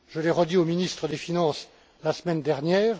Je l'ai redit aux ministres des finances la semaine dernière.